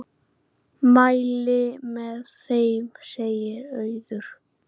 Mæli með þeim, segir Auður.